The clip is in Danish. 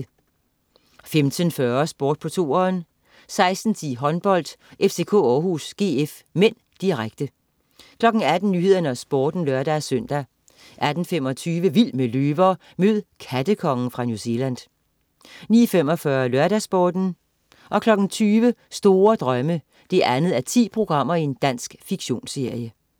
15.40 Sport på 2'eren 16.10 Håndbold: FCK-Århus GF (m), direkte 18.00 Nyhederne og Sporten (lør-søn) 18.25 Vild med løver. Mød "kattekongen" fra New Zealand 19.45 LørdagsSporten 20.00 Store Drømme 2:10. Dansk fiktionsserie